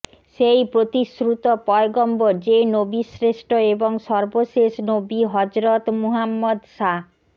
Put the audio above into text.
সেই প্রতিশ্রুত পয়গম্বর যে নবীশ্রেষ্ঠ এবং সর্বশেষ নবী হযরত মুহাম্মাদ সা